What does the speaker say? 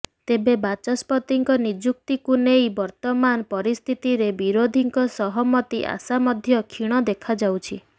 ତେବେ ବାଚସ୍ପତିଙ୍କ ନିଯୁକ୍ତିକୁ ନେଇ ବର୍ତ୍ତମାନ ପରିସ୍ଥିତିରେ ବିରୋଧୀଙ୍କ ସହମତି ଆଶା ମଧ୍ୟ କ୍ଷୀଣ ଦେଖାଯାଉଛି